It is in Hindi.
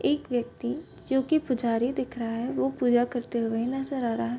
एक व्यक्ति जो की पुजारी दिख रहा है वो पूजा करते हुए नजर आ रहा --